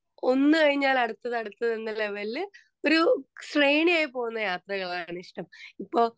Speaker 2 ഒന്നുകഴിഞ്ഞാൽ അടുത്തത് അടുത്തത് എന്ന ലെവെലില് ഒരു ശ്രേണിയായി പോകുന്ന യാത്രകളാണ് ഇഷ്ടം. ഇപ്പോ